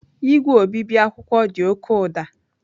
Igwe obibi akwụkwọ dị oke ụda.